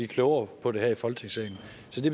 klogere på det her i folketingssalen